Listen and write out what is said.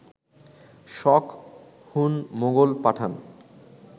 শক, Hun, Mughal, পাঠান